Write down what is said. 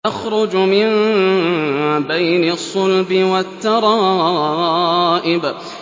يَخْرُجُ مِن بَيْنِ الصُّلْبِ وَالتَّرَائِبِ